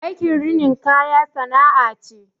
Aikin rinin kaya sana'a ce